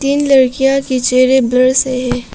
इन लड़कियां के चेहरे ब्लर्स हैं।